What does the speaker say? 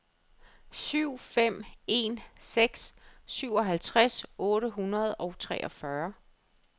syv fem en seks syvoghalvtreds otte hundrede og treogfyrre